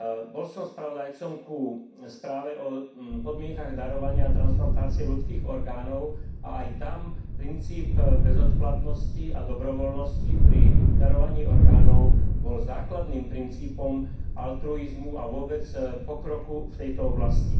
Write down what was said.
Bol som spravodajcom ku správe o podmienkach darovania a transplantácie ľudských orgánov a aj tam princíp bezodplatnosti a dobrovoľnosti pri darovaní orgánov bol základným princípom altruizmu a vôbec pokroku v tejto oblasti.